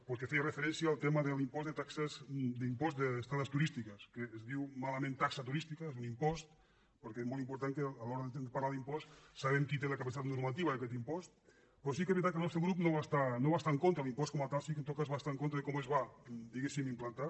pel que feia referència al tema de l’impost d’estades turístiques que es diu malament taxa turística és un impost perquè és molt important que a l’hora de parlar d’impost sapiguem qui té la capacitat normativa d’aquest impost però sí que és veritat que el nostre grup no va estar en contra de l’impost com a tal sí que en tot cas va estar en contra de com es va diguéssim implantar